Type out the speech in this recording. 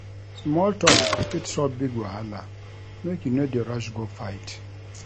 Small tok fit solve big wahala, make you no dey rush go fight.